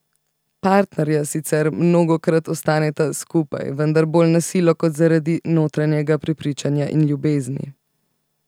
Partnerja sicer mnogokrat ostaneta skupaj, vendar bolj na silo kot zaradi notranjega prepričanja in ljubezni.